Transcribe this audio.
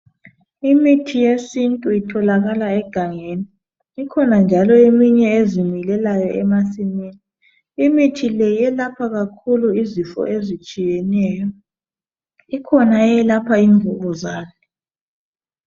Imithi yesintu itholakala egangeni ikhona njalo eminye ezimilelayo emasimini imithi le yelapha kakhulu izifo ezitshiyeneyo ikhona eyelapha imvukuzane